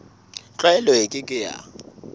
tlwaelo e ke ke ya